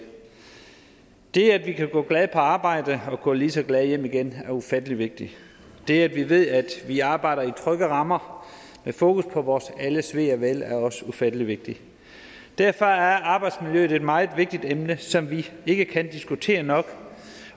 det at vi kan gå glade på arbejde og gå lige så glade hjem igen er ufattelig vigtigt det at vi ved at vi arbejder i trygge rammer med fokus på vores alles ve og vel er også ufattelig vigtigt derfor er arbejdsmiljøet et meget vigtigt emne som vi ikke kan diskutere nok